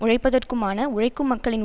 உழைப்பதற்குமான உழைக்கும் மக்களின்